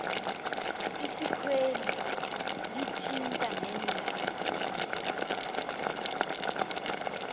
isikweli lithinta neendaba